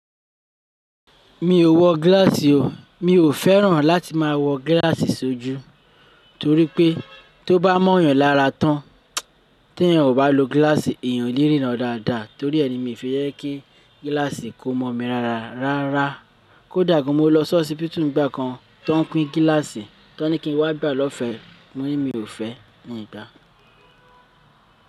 Mi ò wọ gíláàsì o. Mi ò fẹ́ràn láti máa wọ gíláàsì sójú, torí pé ti ó bá mọ́ èèyàn lára tán, tí èèyàn kò bá lo gíláàsì èèyàn ò lè ríran dáadáa. Torí ẹ ni mi fi jẹ kí gíláàsì kó mọ́ mi rárárara. Rárá, kódà gan mó lọ si hospital n gbákan ti won n pín gíláàsì, ti won ní kí n wá gbà á lọ́fẹ̀ẹ́, mo ní mi ò fẹ́, in gba.